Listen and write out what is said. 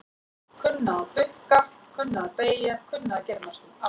Kunna að bukka, kunna að beygja kunna að gera næstum allt.